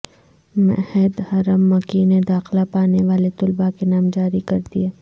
معہد حرم مکی نے داخلہ پانےوالے طلباءکے نام جاری کردیئے